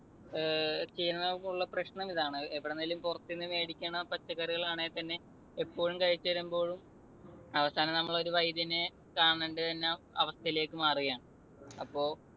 ഏർ പ്രശ്നമിതാണ്. എവിടെന്നെങ്കിലും പുറത്തു നിന്ന് മേടിക്കണ പച്ചക്കറികളാണെങ്കിൽ തന്നെ എപ്പോഴും കഴിച്ചു വരുമ്പോൾ അവസാനം നമ്മൾ ഒരു വൈദ്യനെ കാണേണ്ടിവരുന്ന അവസ്ഥയിലേക്ക് മാറുകയാണ്.